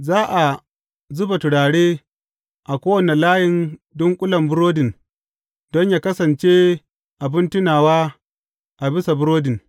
Za a zuba turare a kowane layin dunƙulen burodin don yă kasance abin tunawa a bisa burodin.